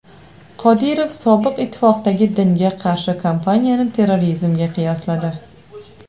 Qodirov Sobiq ittifoqdagi dinga qarshi kampaniyani terrorizmga qiyosladi.